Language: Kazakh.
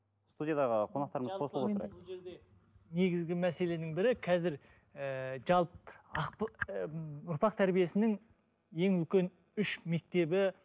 студиядағы қонақтарымыз қосылып отырайық негізгі мәселенің бірі қазір ііі ы ұрпақ тәрбиесінің ең үлкен үш мектебі